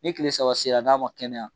Ni kile saba sera n'a ma kɛnɛya.